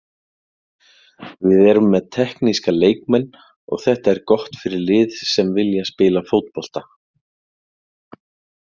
Við erum með tekníska leikmenn og þetta er gott fyrir lið sem vilja spila fótbolta.